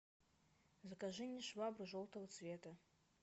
закажи мне швабру желтого цвета